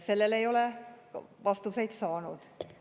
Sellele ei ole vastuseid saanud.